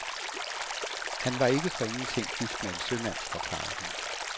Han var ikke for ingenting gift med en sømand, forklarede hun.